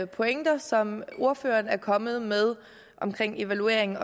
pointer som ordføreren er kommet med omkring evaluering